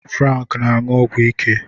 Frank na-aṅụ ọgwụ ike